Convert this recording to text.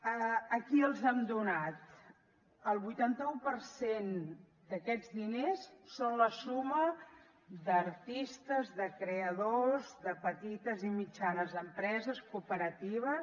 a qui les hem donat el vuitanta un per cent d’aquests diners són la suma d’artistes de creadors de petites i mitjanes empreses cooperatives